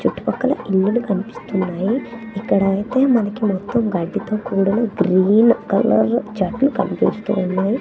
చుట్టు పక్కల ఇల్లులు కన్పిస్తున్నాయి ఇక్కడ అయితే మనకి మొత్తం గడ్డితో కూడిన గ్రీన్ కలరు చెట్లు కన్పిస్తూ ఉన్నాయి.